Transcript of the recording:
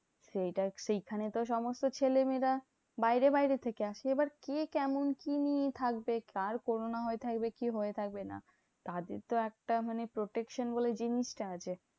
সেইটা সেখানে তো সমস্ত ছেলেমেয়েরা বাইরে বাইরে থেকে আসছে। এইবার কে কেমন কি থাকবে কার corona হয়ে থাকবে কে হয়ে থাকবে না? তাদের তো একটা মানে protection বলে জিনিসটা আছে।